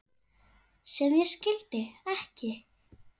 sem ég skildi ekki